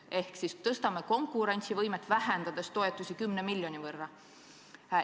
Ehk siis tõstame konkurentsivõimet, vähendades toetusi 10 miljoni võrra.